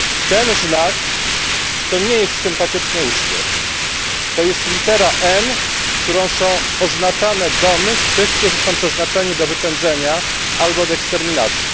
Ten znak to nie jest sympatyczny uśmiech, to jest litera N, którą są oznaczane domy tych, którzy są przeznaczeni do wypędzenia albo do eksterminacji.